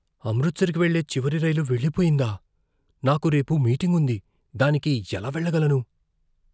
అమృత్సర్కి వెళ్లే చివరి రైలు వెళ్లిపోయిందా? నాకు రేపు మీటింగ్ ఉంది, దానికి ఎలా వెళ్ళగలను?